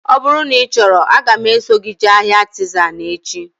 Ọ bụrụ na ị chọrọ, aga m eso gị jee ahịa Artizan echi